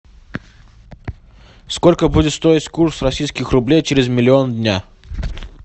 сколько будет стоить курс российских рублей через миллион дня